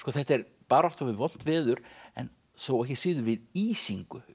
þetta er barátta við vont veður en þó ekki síður við ísingu